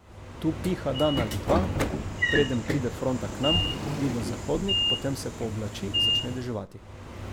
Tu piha dan ali dva, preden pride fronta k nam, jugozahodnik, potem se pooblači, začne deževati.